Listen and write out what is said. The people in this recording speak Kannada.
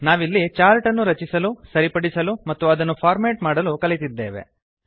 ನಾವಿಲ್ಲಿ ಚಾರ್ಟ್ ಅನ್ನು ರಚಿಸಲು ಸರಿಪಡಿಸಲು ಮತ್ತು ಅದನ್ನು ಫಾರ್ಮೇಟ್ ಮಾಡಲು ಕಲಿತಿದ್ದೇವೆ